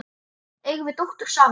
Eigum við dóttur saman?